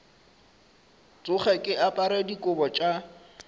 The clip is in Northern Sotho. tsoge ke apere dikobo tša